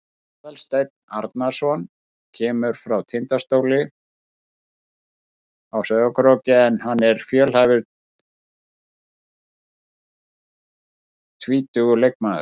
Aðalsteinn Arnarson kemur frá Tindastóli á Sauðárkróki en hann er fjölhæfur tvítugur leikmaður.